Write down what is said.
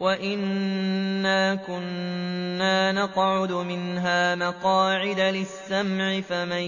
وَأَنَّا كُنَّا نَقْعُدُ مِنْهَا مَقَاعِدَ لِلسَّمْعِ ۖ فَمَن